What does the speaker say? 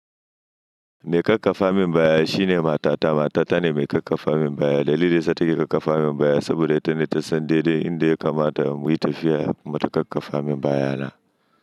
Mai kakkafa min baya shine matata. Matata ne mai kakkafa min baya. Dalili da ita take kakkafa min baya saboda ita ne ta san daidai inda ya kamata mu yi tafiya. Mata kakkafa min bayana.